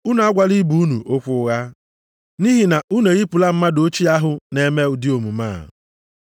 Unu agwala ibe unu okwu ụgha, nʼihi na unu eyipụla mmadụ ochie ahụ na-eme ụdị omume a.